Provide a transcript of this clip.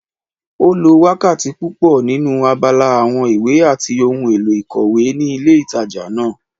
Ó lo wákàtí púpọ̀ nínu abala àwọn ìwé àti ohun èlò ìkòwé ní ilé ìtajà náà